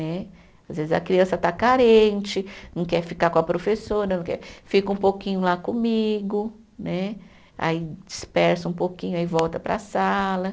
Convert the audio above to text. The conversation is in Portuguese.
Né. Às vezes a criança está carente, não quer ficar com a professora não quer, fica um pouquinho lá comigo né, aí dispersa um pouquinho, aí volta para a sala.